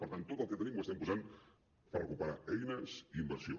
per tant tot el que tenim ho estem posant per recuperar eines i inversió